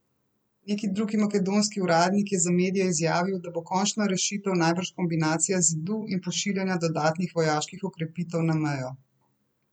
Neki drugi makedonski uradnik je za medije izjavil, da bo končna rešitev najbrž kombinacija zidu in pošiljanja dodatnih vojaških okrepitev na mejo.